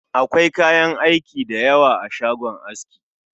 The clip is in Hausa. Akwai kayan aiki da yawa a shagon aski